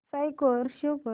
score show कर